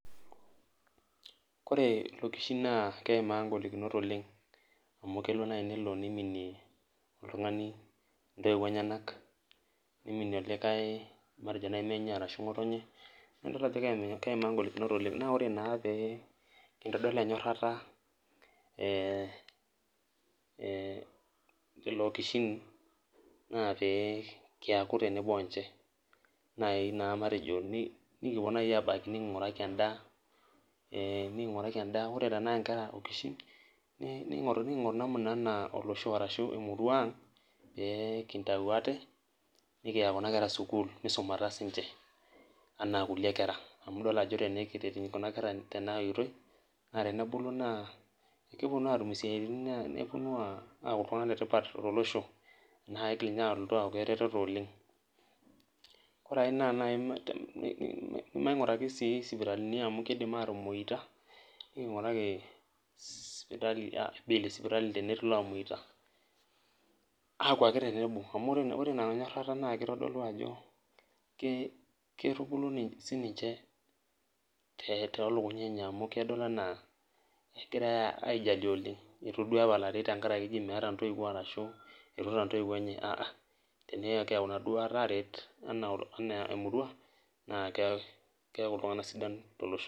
Kore lokishin naa keimaa egolikinot oleng, amu kelo nai nelo niminie oltung'ani intoiwuo enyanak, niminie olikae matejo nai menye arashu ng'otonye, na idol ajo keimaa golikinot oleng. Na ore naa pee kintodol enyorrata lelo okishin, naa pee kiaku tenebo onche nai naa matejo nikipuo nai abaki niking'uraki endaa, ore tenaa nkera okishin, niking'oru namuna enaa olosho ashu emurua ang, pee kintau ate, nikiya kuna kera sukuul misumata sinche anaa kulie kera. Amu idol ajo tenikiret kuna kera tena oitoi, na tenebulu naa keponu atum isiaitin neponu aku iltung'anak letipat tolosho. Na kigil inye alotu aku ereteto oleng. Kore ai naa nai maing'uraki si sipitalini amu kidim atomoita, niking'uraki bill esipitali tenetii lamoita. Aku ake tenebo, amu ore ina nyorrata na kitodolu ajo ke kitubulu sininche tolukuny enye amu kedol anaa kegirai aijalie oleng. Itu duo epalari ji tenkaraki meeta ntoiwuo ashu etuata ntoiwuo enye, ah~ah. Tenekiyau inaduata aret, enaa emurua, naa keeku iltung'anak sidan tolosho.